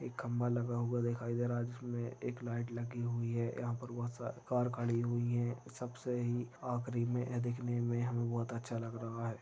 खंबा लगा हुआ दिखाई दे रहा है जिसमे एक लाइट लगी हुई है यहा पर बहुत सारी कार खड़ी हुई है सबसे ही आखरी मे यह देखने मे हमे बहुत अच्छा लग रहा है।